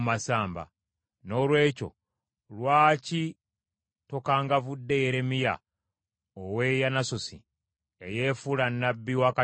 Noolwekyo lwaki tokangavudde Yeremiya ow’e Yanasosi, eyefuula nnabbi wakati mu mmwe?